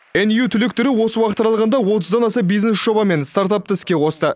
ню түлектері осы уақыт аралығында отыздан аса бизнес жоба мен стартапты іске қосты